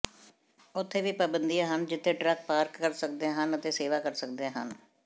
ਉੱਥੇ ਵੀ ਪਾਬੰਦੀਆਂ ਹਨ ਜਿੱਥੇ ਟਰੱਕ ਪਾਰਕ ਕਰ ਸਕਦੇ ਹਨ ਅਤੇ ਸੇਵਾ ਕਰ ਸਕਦੇ ਹਨ